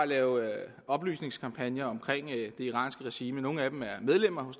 lave oplysningskampagner om det iranske regime nogle af dem er medlemmer